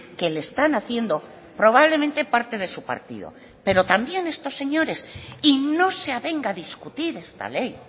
que le están haciendo probablemente parte de su partido pero también estos señores y no se avenga a discutir esta ley